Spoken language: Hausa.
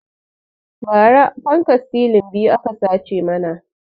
Ba ra fankan silin biyu aka sace mana